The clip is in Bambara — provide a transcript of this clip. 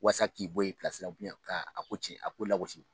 Walasa k'i bɔ yen i la ka ko cɛn ka ko lagosi